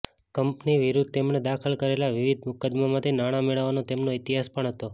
company વિરુદ્ધ તેમણે દાખલ કરેલા વિવિધ મુકદ્દમામાંથી નાણાં મેળવવાનો તેમનો ઇતિહાસ પણ હતો